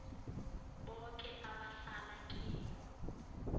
boke abahlala kiyo